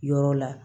Yɔrɔ la